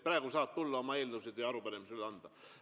Praegu saab tulla oma eelnõusid ja arupärimisi üle andma.